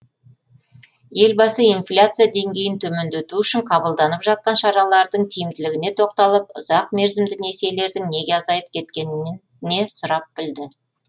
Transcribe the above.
елбасы инфляция деңгейін төмендету үшін қабылданып жатқан шаралардың тиімділігіне тоқталып ұзақ мерзімді несиелердің неге азайып кеткеніне сұрап білді